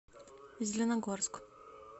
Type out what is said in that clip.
зеленогорск